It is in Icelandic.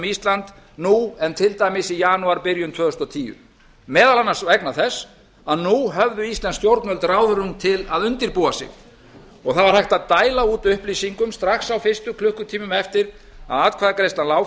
ísland nú en til dæmis í janúarbyrjun tvö þúsund og tíu meðal annars vegna þess að nú höfðu íslensk stjórnvöld ráðrúm til að undirbúa sig það var hægt að dæla út upplýsingum strax á fyrstu klukkutímum eftir að atkvæðagreiðsla lá